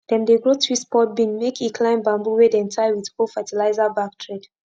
dem dey grow twist pod bean make e climb bamboo wey dem tie with old fertilizer bag thread